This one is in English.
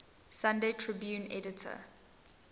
sunday tribune editor